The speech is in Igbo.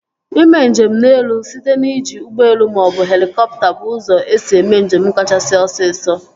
Ime njem n'elu site n'iji ụgbọelu maọbụ helikọpta bụ ụzọ esi eme njem kachasị osisọ